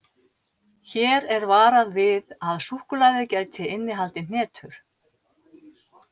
Hér er varað við að súkkulaðið gæti innihaldið hnetur.